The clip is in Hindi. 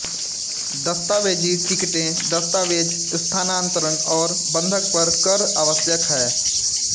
दस्तावेजी टिकटें दस्तावेज स्थानान्तरण और बंधक पर कर आवश्यक हैं